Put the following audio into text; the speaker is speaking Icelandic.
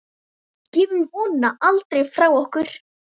Gefum vonina aldrei frá okkur.